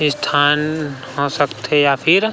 स्थान हो सकथे या फिर--